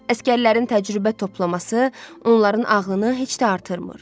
Əsgərlərin təcrübə toplaması onların ağlını heç də artırmır.